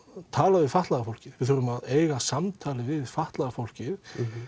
tala við fatlaða fólkið við þurfum að eiga samtal við fatlaða fólkið